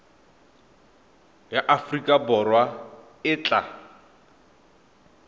ya aforika borwa e tla